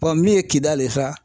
min ye kidali ye sa